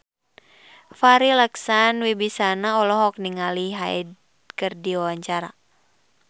Farri Icksan Wibisana olohok ningali Hyde keur diwawancara